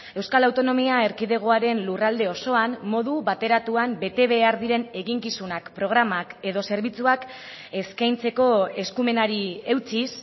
euskal autonomia erkidegoaren lurralde osoan modu bateratuan bete behar diren eginkizunak programak edo zerbitzuak eskaintzeko eskumenari eutsiz